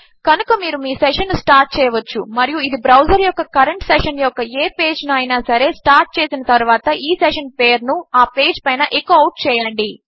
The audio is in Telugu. కనుక మీరు మీ సెషన్ ను స్టార్ట్ చేయవచ్చు మరియు ఇది బ్రౌజర్ యొక్క కరెంట్ సెషన్ యొక్క ఏ పేజ్ ను అయినా సరే స్టార్ట్ చేసిన తరువాత ఈ సెషన్ పేరు ను ఆ పేజ్ పైన ఎకో అవుట్ చేయండి